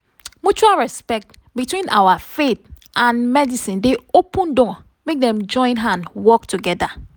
mutual respect between our and medicine dey open door make dem join hand work together.